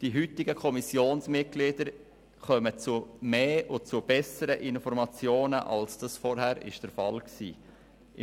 Die heutigen Kommissionsmitglieder kommen zu zahlreicheren und zu besseren Informationen, als dies zuvor der Fall war.